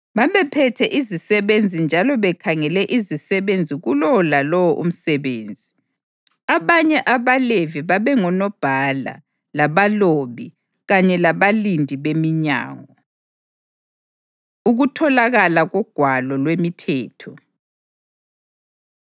babephethe izisebenzi njalo bekhangele izisebenzi kulowo lalowo umsebenzi. Abanye abaLevi babengonobhala, labalobi kanye labalindi beminyango. Ukutholakala KoGwalo LwemiThetho